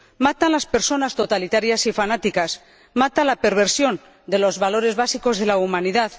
Matan las personas totalitarias y fanáticas, mata la perversión de los valores básicos de la humanidad.